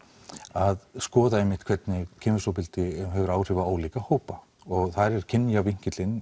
að skoða hvernig kynferðisofbeldi hefur áhrif á ólíka hópa þar er kynja